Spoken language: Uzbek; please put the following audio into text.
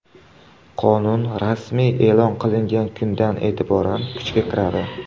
Qonun rasmiy e’lon qilingan kundan e’tiboran kuchga kiradi.